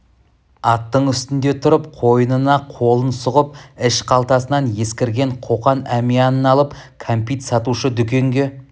аттың үстінде тұрып қойынына қолын сұғып іш қалтасынан ескірген қоқан әмиянын алып кәмпит сатушы дүнгенге